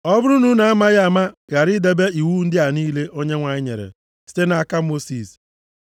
“ ‘Ọ bụrụ na unu amaghị ama ghara idebe iwu ndị a niile Onyenwe anyị nyere site nʼaka Mosis,